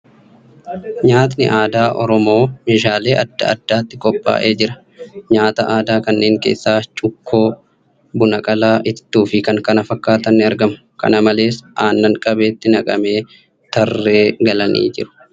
Nyaatni aadaa Oromoo meeshaalee aadaa adda addaatti qophaa'ee jira. Nyaata aadaa kanneen keessaa cuqqoo, buna qalaa, itittuu fi kan kana fakkaatan ni argamu. Kana malees, aannan qabeetti naqamee tarree galanii jiru.